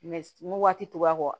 Mɛ n ko waati tora a kɔ